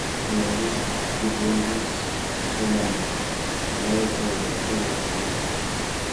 nyoluu kuchengu somanee naee akobo tukuk ab keny